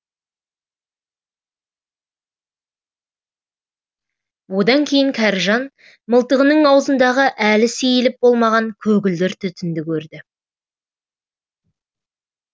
одан кейін кәріжан мылтығының аузындағы әлі сейіліп болмаған көгілдір түтінді көрді